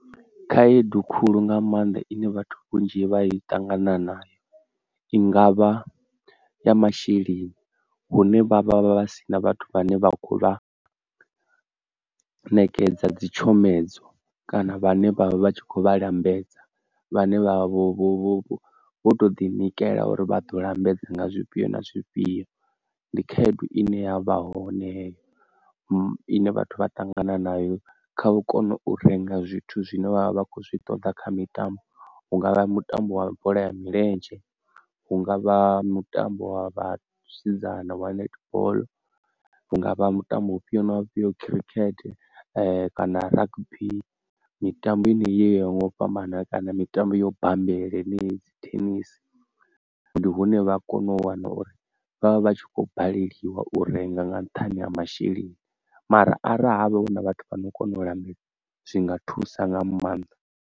Khaedu khulu nga maanḓa ine vhathu vhunzhi vha i ṱangana nayo i ngavha ya masheleni, hune vha vha vha vha si na vhathu vhane vha kho vha ṋekedza dzi tshomedzo kana vhane vha vha tshi kho vha lambedza, vhane vhavha vho vho to ḓi nikela uri vha ḓo lambedza nga zwifhio na zwifhio, ndi khaedu ine ya vha hone heyo ine vhathu vha ṱangana nayo kha u kona u renga zwithu zwine vhavha vha khou zwi ṱoḓa kha mitambo, hungavha mutambo wa bola ya milenzhe, hungavha mutambo wa vhasidzana wa netball, hungavha mutambo ufhio na ufhio, khirikhethe kana rugby mitambo enei yo yaho ngau fhambana kana mitambo yo bammbela henei, thenisi. Ndi hune vha kone u wana uri vhavha vhatshi kho baleliwa u renga nga nṱhani ha masheleni mara arali havha huna vhathu vhano kona u lambedza zwi nga thusa nga maanḓa.